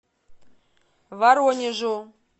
воронежу